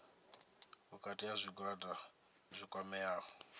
vhukati ha zwigwada zwi kwameaho